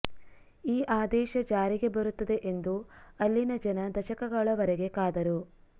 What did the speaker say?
ಈ ಆದೇಶ ಜಾರಿಗೆ ಬರುತ್ತದೆ ಎಂದು ಅಲ್ಲಿನ ಜನ ದಶಕಗಳವರೆಗೆ ಕಾದರು